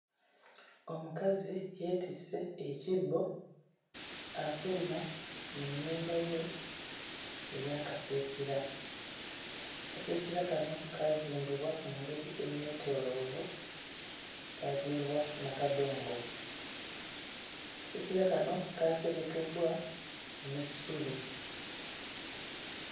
Omukazi yeetisse ekibbo afuluma mu nnyumba ye ey'akasiisira. Akasiisira kano kaazimbibwa mu ngeri enneetooloovu, kaazimbibwa na kadongo, akasiisira kano kaaserekeddwa n'essubi.